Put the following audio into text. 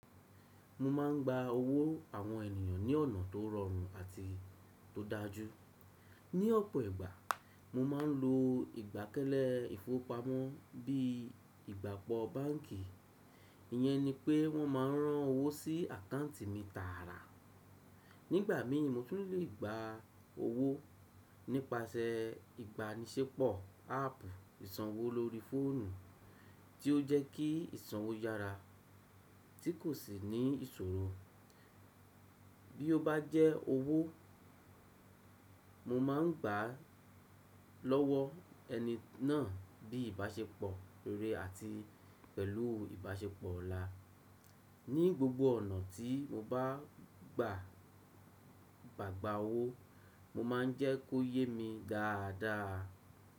Mo máà ń gba owó àwọn ènìyàn ní ọ̀nà tó rọrùn àti tó dájú. Ni ọ̀pọ̀ ìgbà, mo máa ń lo ìgbàkẹ́lẹ́ ìfowópamọ́ bíi ìgbàgbọ́ báǹkì, ìyẹn ni pé wọ́n ma rán owó sí àkáǹtì mi tààrà. Nígbà mi mo tún lè gba owó nípasẹ ìbánisẹ́pọ̀ áàpù ìsanwó lórí fóònù, tí ó jẹ́ kí ìsanwó yára tí kò sì ní ìṣòro. Bí ó bá jẹ́ owó mo máa ń gbà á lọ́wọ́ ẹni náà bíi ìbáṣepọ̀ re àti pẹ̀lú ìbáṣepọ̀ ọ̀la. Ní gbogbo ọ̀nà tí mo bá ń gbà gbàgbà owó, mo máa ń jẹ́ kó yé mi dáadáa.